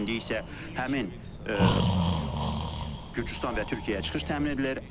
İndi isə həmin Gürcüstana və Türkiyəyə çıxış təmin edilir.